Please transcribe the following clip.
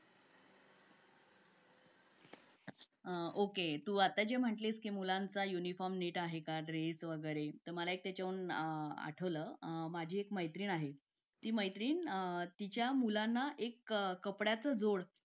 Late होतं सर्दी खोकला हा एक वाढलं आहे. एका मुलाला क्लास पूर्ण क्लास त्याच्यामध्ये वाहून निघत निघत असतो असं म्हणायला हरकत नाही. हो डेंग्यू, मलेरिया यासारखे आजार पण ना म्हणजे लसीकरण आहे. पूर्ण केले तर मला नाही वाटत आहे रोप असू शकतेपुडी लसीकरणाबाबत थोडं पालकांनी लक्ष दिलं पाहिजे की आपला मुलगा या वयात आलेला आहे. आता त्याच्या कोणत्या लसी राहिलेले आहेत का?